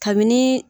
Kabini